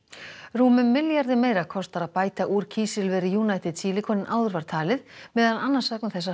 rúmum milljarði meira kostar að bæta úr kísilveri United Silicon en áður var talið meðal annars vegna þess að